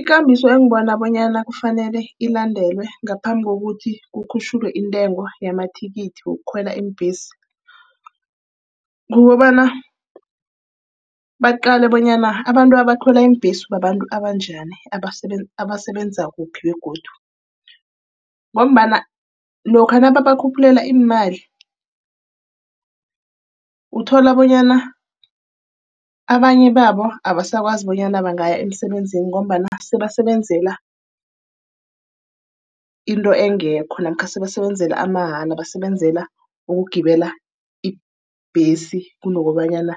Ikambiso engibona bonyana kufanele ilandelwe ngaphambi kokuthi kukhutjhulwe intengo yamathikithi wokhwela iimbesi, kukobana baqale bonyana abantu abakhwela iimbhesi babantu abanjani. Abasebenza kuphi begodu. Ngombana lokha nababakhuphulela imali, uthola bonyana abanye babo abasakwazi bonyana bangaya emsebenzini ngombana sebasebenzela into engekho namkha sebasebenzela amaha. Basebenzela ukugibela ibhesi kunobanyana